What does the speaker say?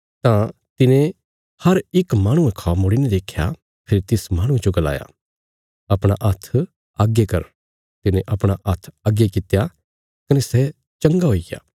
तां तिने हर इक माहणुये खौ मुड़ीने देख्या फेरी तिस माहणुये जो गलाया अपणा हत्थ अग्गे कर तिने अपणा हत्थ अग्गे कित्या कने सै चंगा हुईग्या